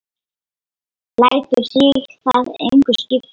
Lætur sig það engu skipta.